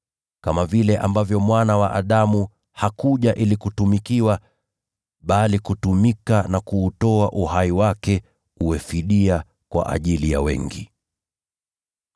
kama vile ambavyo Mwana wa Adamu hakuja ili kutumikiwa, bali kutumika na kuutoa uhai wake uwe fidia kwa ajili ya wengi.”